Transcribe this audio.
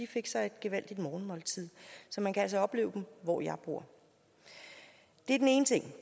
fik sig et gevaldigt morgenmåltid så man kan altså opleve dem hvor jeg bor det er den ene ting